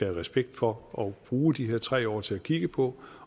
respekt for og bruge de her tre år til at kigge på